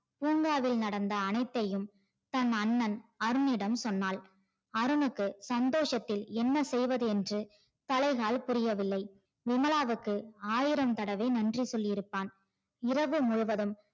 பூங்காவில் நடந்த அனைத்தையும் தன அண்ணன் அருணிடம் சொன்னால் அருணுக்கு சந்தோஷத்தில் என்ன செய்வது என்று தலை கால் புரிய வில்லை விமலாவுக்கு ஆயிரம் தடவை நன்றிகள் சொல்லிருப்பான் இரவு முழுவதும்